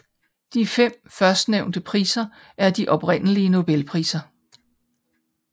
De fem førstnævnte priser er de oprindelige Nobelpriser